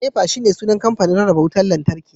NEPA shine sunan kamfanin rarraba wutar lantarki